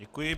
Děkuji.